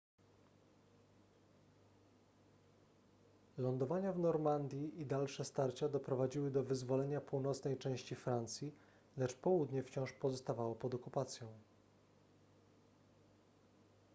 lądowania w normandii i dalsze starcia doprowadziły do wyzwolenia północnej części francji lecz południe wciąż pozostawało pod okupacją